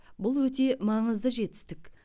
бұл өте маңызды жетістік